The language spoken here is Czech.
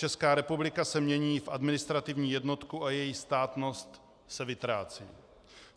Česká republika se mění v administrativní jednotku a její státnost se vytrácí.